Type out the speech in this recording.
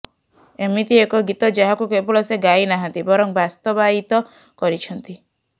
ଏମିତି ଏକ ଗୀତ ଯାହାକୁ କେବଳ ସେ ଗାଇ ନାହାନ୍ତି ବରଂ ବାସ୍ତବାୟିତ କରିଛନ୍ତି